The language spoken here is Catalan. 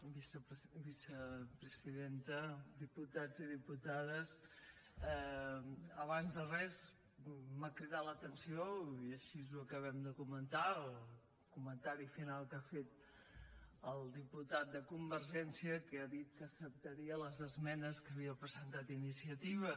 vicepresidenta diputats i diputades abans de res m’ha cridat l’atenció i així ho acabem de comentar el comentari final que ha fet el diputat de convergència que ha dit que acceptaria les esmenes que havia presentat iniciativa